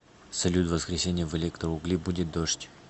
салют в воскресенье в электроугли будет дождь